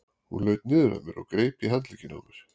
Hún laut niður að mér og greip í handlegginn á mér.